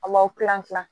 Aw kilan kilan